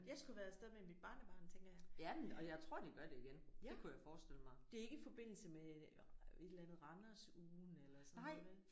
Jeg skulle have været afsted med mit barnebarn tænker jeg. Ja det er ikke i forbindelse med et eller andet Randers Ugen eller sådan noget vel?